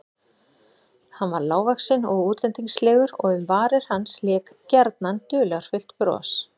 Hann var lágvaxinn og útlendingslegur og um varir hans lék gjarnan dularfullt bros.